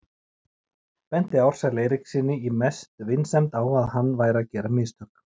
Benti Ársæli Eiríkssyni í mestu vinsemd á að hann væri að gera mistök.